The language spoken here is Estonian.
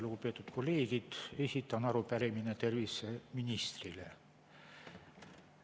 Lugupeetud kolleegid, esitan arupärimise terviseministrile.